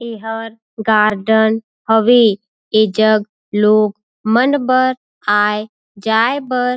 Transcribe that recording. ए हर गार्डन हवे ए जग लोग मन बा आए जाए बर--